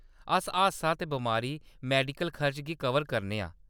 अस हादसा ते बमारी मैडिकल खर्चे गी कवर करने आं।